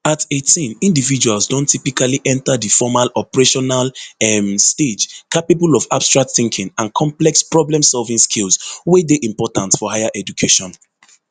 at eighteen individuals don typically enta di formal operational um stage capable of abstract thinking and complex problemsolving skills wey dey important for higher education